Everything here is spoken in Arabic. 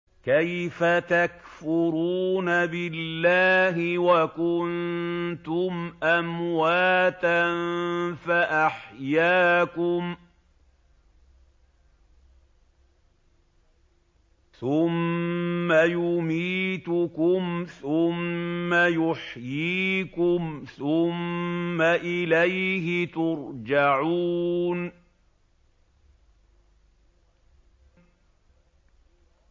كَيْفَ تَكْفُرُونَ بِاللَّهِ وَكُنتُمْ أَمْوَاتًا فَأَحْيَاكُمْ ۖ ثُمَّ يُمِيتُكُمْ ثُمَّ يُحْيِيكُمْ ثُمَّ إِلَيْهِ تُرْجَعُونَ